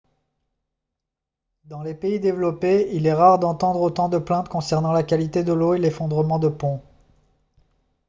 dans les pays développés il est rare d'entendre autant de plaintes concernant la qualité de l'eau ou l'effondrement de ponts